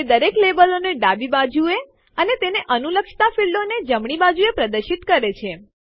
તે દરેક લેબલો ને ડાબી બાજુએ અને તેને અનુલક્ષતા ફીલ્ડો ક્ષેત્રોને જમણી બાજુએ પ્રદર્શિત કરે છે